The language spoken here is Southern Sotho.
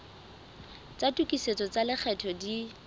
tsa tokisetso tsa lekgetho di